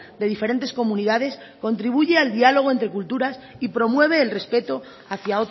de diferentes comunidades contribuye al diálogo entre culturas y promueve el respeto hacia